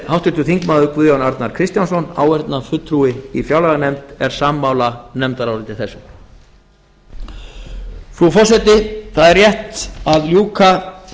háttvirtir þingmenn guðjón a kristjánsson áheyrnarfulltrúi í fjárlaganefnd er sammála nefndaráliti þessu frú forseti það er rétt að ljúka